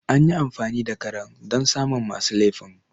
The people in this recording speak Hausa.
Anyi amfani da karen don samu masu lefin